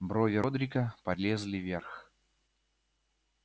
брови родрика полезли вверх